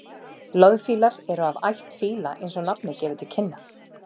loðfílar eru af ætt fíla eins og nafnið gefur til kynna